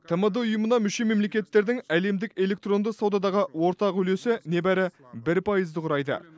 тмд ұйымына мүше мемлекеттердің әлемдік электронды саудадағы ортақ үлесі небәрі бір пайызды құрайды